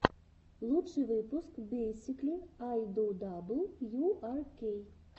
лучший выпуск бейсикли ай ду дабл ю ар кей